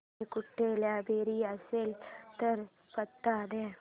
इकडे कुठे लायब्रेरी असेल तर पत्ता दे